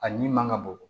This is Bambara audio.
A ɲi man ka bɔ